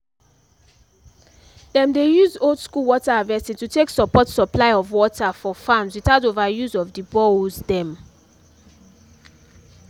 dem dey use old school water harvesting to take support supply of water for farms without overuse of the boreholes dem